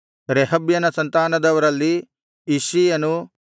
ರೆಹಬ್ಯನ ಸಂತಾನದವರಲ್ಲಿ ಇಷ್ಷೀಯನೂ